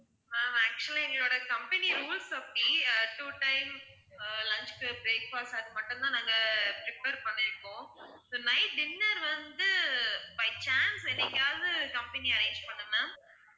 ma'am actually எங்களோட company rules அப்படி அஹ் two times அஹ் lunch breakfast அது மட்டும் தான் நாங்க prepare பண்ணியிருக்கோம் so night dinner வந்து by chance அங்க எங்கயாவது company arrange பண்ணும் ma'am